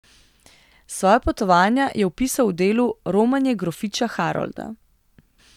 Svoja potovanja je opisal v delu Romanje grofiča Harolda.